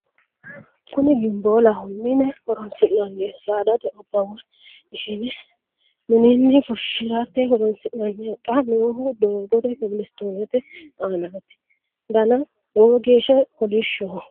kuni gimboolaho mine horoonsi'nanniho saadate oba woy ishshine mininni fushshirate horoonsi'nanniho xa noohu doogote kobelistonete aanati dana lowo geeshsha kolishshoho